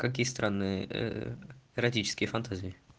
какие странные ээ эротические фантазии